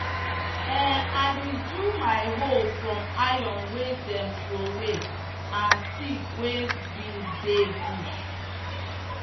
um i bin do my hoe from iron wey them throwaway and stick wey bin dey bush.